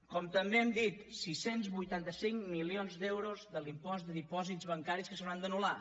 com també hem dit sis cents i vuitanta cinc milions d’euros de l’impost de dipòsits bancaris que s’hauran d’anul·lar